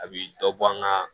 A bi dɔ bɔ an ka